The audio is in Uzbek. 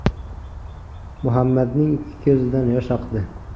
Muhammadning ikki ko‘zidan yosh oqdi.